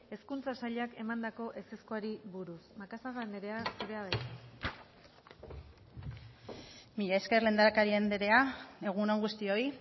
hezkuntza sailak emandako ezezkoari buruz macazaga anderea zurea da hitza mila esker lehendakari anderea egun on guztioi